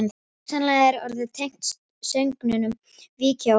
Hugsanlega er orðið tengt sögnunum víkja og vaka.